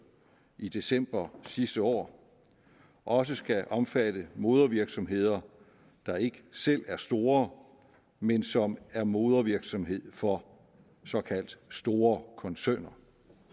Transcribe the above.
i december sidste år også skal omfatte modervirksomheder der ikke selv er store men som er modervirksomhed for såkaldt store koncerner